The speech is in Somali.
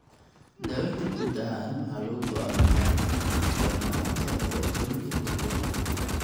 Daawaynta guud ahaan waxaa lagu go'aamiyaa darnaanta dhibaatooyinka kelyaha.